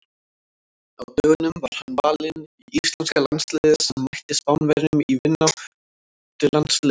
Á dögunum var hann valinn í íslenska landsliðið sem mætti Spánverjum í vináttulandsleik.